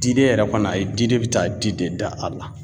Diden yɛrɛ kɔni ayi diden be taa di de da a la.